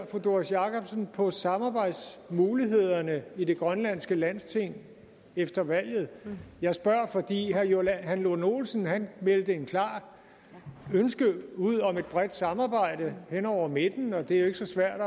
fru doris jakobsen ser på samarbejdsmulighederne i det grønlandske landsting efter valget jeg spørger fordi herre johan lund olsen meldte et klart ønske ud om et bredt samarbejde hen over midten og det er jo ikke så svært